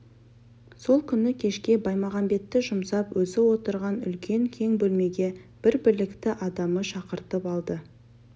сол күні кешке баймағамбетті жұмсап өзі отырған үлкен кең бөлмеге бір білікті адамы шақыртып алды